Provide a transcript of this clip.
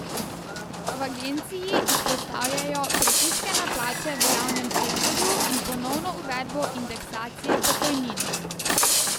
V agenciji izpostavljajo pritiske na plače v javnem sektorju in ponovno uvedbo indeksacije pokojnin.